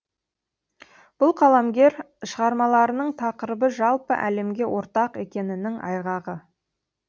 бұл қаламгер шығармаларының тақырыбы жалпы әлемге ортақ екенінің айғағы